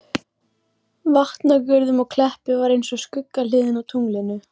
Vatnagörðum og Kleppi var eins og skuggahliðin á tunglinu.